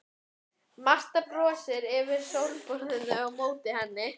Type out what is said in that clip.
Marta brosir yfir sófaborðinu á móti henni.